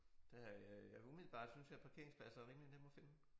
Det har jeg ja umiddelbart synes jeg at parkeringspladser er rimelig nemme at finde